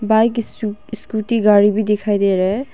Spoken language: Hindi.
बाइक इसु स्कूटी गाड़ी भी दिखाई दे रहा है।